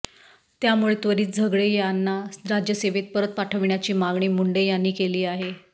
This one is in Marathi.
त्यामुळे त्वरित झगडे यांना राज्यसेवेत परत पाठविण्याची मागणी मुंडे यांनी केली आहे